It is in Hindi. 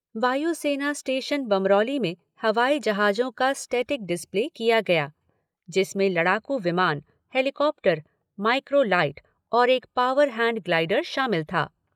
वायु सेना स्टेशन बमरौली में हवाई जहाजों का स्टेटिक डिस्प्ले किया गया जिसमें लड़ाकू विमान, हेलीकॉप्टर, माइक्रो लाइट और एक पावर हैण्ड ग्लाइडर शामिल था।